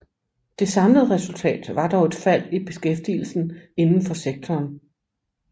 Det samlede resultat var dog et fald i beskæftigelsen inden for sektoren